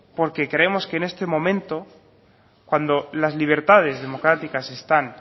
porque creemos que en este momento cuando las libertades democráticas están